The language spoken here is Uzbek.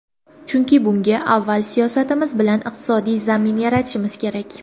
Chunki bunga avval siyosatimiz bilan iqtisodiy zamin yaratishimiz kerak .